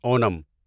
Onam